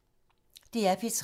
DR P3